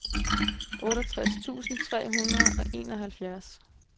otteogtres tusind tre hundrede og enoghalvfjerds